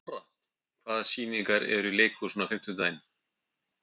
Snorra, hvaða sýningar eru í leikhúsinu á fimmtudaginn?